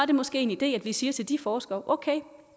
det måske en idé at vi siger til de forskere okay